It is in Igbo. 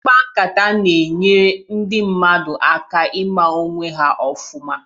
Ịkpa nkata na-enyere ndị mmadụ aka ịma onwe ha ofụma